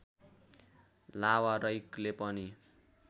लावारैकले पनि